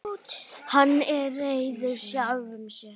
Hann er reiður sjálfum sér.